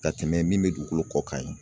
Ka tɛmɛ min bɛ dugukolo kɔ kan ye